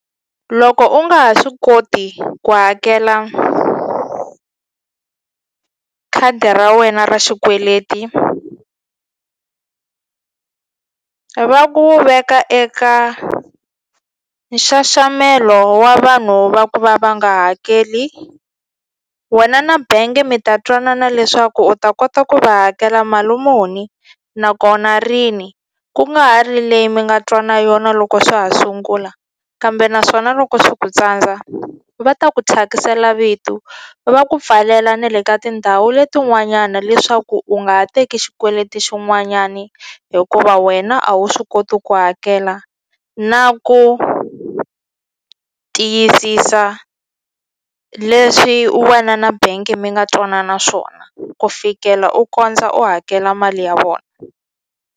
Loko u nga ha swi koti ku hakela khadi ra wena ra xikweleti va ku veka eka nxaxamelo wa vanhu va ku va nga hakeli wena na bengi mi ta twanana leswaku u ta kota ku va hakela mali muni nakona rini ku nga ha ri leyi mi nga twa na yona loko swa ha sungula kambe naswona loko swi ku tsandza va ta ku thyakisela vitu va ku pfalela na le ka tindhawu leti n'wanyana leswaku u nga ha teki xikweleti xin'wanyani hikuva wena a wu swi koti ku hakela na ku tiyisisa leswi wena na bank mi nga twanana swona ku fikela u kondza u hakela mali ya vona.